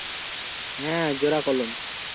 হ্যাঁ জোড়া কলম